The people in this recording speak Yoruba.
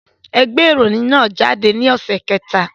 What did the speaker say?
Ẹ gbé ìròyìn náà jáde ní ọ̀sẹ̀ kẹta